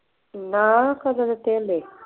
ਨਾ ਕਦੋਂ ਦਿੱਤੇ ਹਾਲੇ